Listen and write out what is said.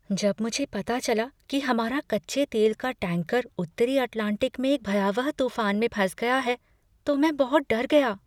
जब मुझे पता चला कि हमारा कच्चे तेल का टैंकर उत्तरी अटलांटिक में एक भयावह तूफान में फंस गया है तो मैं बहुत डर गया।